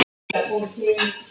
Það stendur á svari.